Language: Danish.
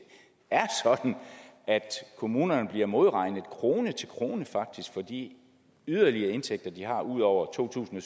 er sådan at kommunerne bliver modregnet faktisk krone til krone for de yderligere indtægter de har ud over to tusind